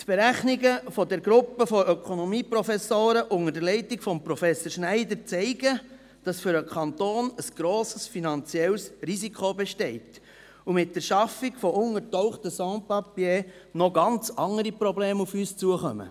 Die Berechnungen der Gruppe von Ökonomieprofessoren unter der Leitung von Professor Schneider zeigen, dass für den Kanton ein grosses finanzielles Risiko besteht und mit der Schaffung von untergetauchten Sans Papiers noch ganz andere Probleme auf uns zukommen.